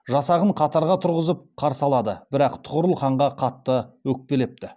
жасағын қатарға тұрғызып қарсы алады бірақ тұғырыл ханға қатты өкпелепті